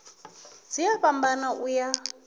dzi a fhambana u ya